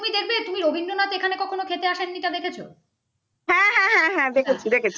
হাঁ হাঁ দেখছি দেখছি